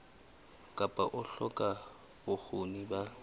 kapa ho hloka bokgoni ba